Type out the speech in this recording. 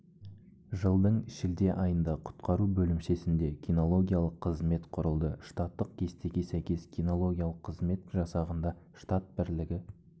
жылдың шілде айында құтқару бөлімшесінде кинологиялық қызмет құрылды штаттық кестеге сәйкес кинологиялық қызмет жасағында штат бірлігі